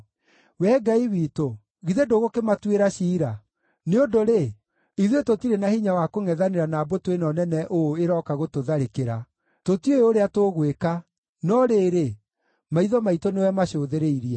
Wee Ngai witũ, githĩ ndũgũkĩmatuĩra ciira? Nĩ ũndũ-rĩ, ithuĩ tũtirĩ na hinya wa kũngʼethanĩra na mbũtũ ĩno nene ũũ ĩrooka gũtũtharĩkĩra. Tũtiũĩ ũrĩa tũgwĩka, no rĩrĩ, maitho maitũ nĩwe macũthĩrĩirie.”